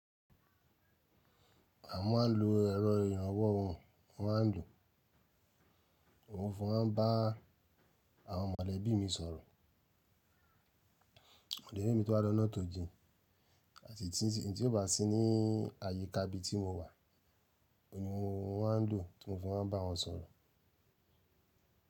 À maa ń lo ẹ̀rọ ìrànwọ́ ohun, a máa ń lo òun fun bá àwọn mọ̀lẹ́bí mi sọ̀rọ̀. Mọ̀lẹ́bí mi tó bá lọ́nà tò jín àti i tí ó bá sí ní àyíká ibi tí mo wà, òun ni mo máa ń lò tí mó fi máa ń bá wọn sọ̀rọ̀.